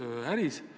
See on põhiprioriteet.